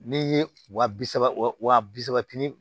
N'i ye wa bi saba wa bi saba